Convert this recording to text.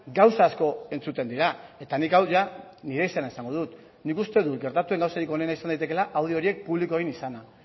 gauza asko entzuten dira eta nik hau nire izenean esango dut nik uste dut gertatu den gauzarik onena izan daitekela audio horiek publiko egin izana